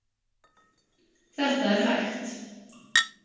Þetta er hægt.